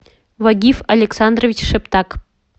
вагиф александрович шептак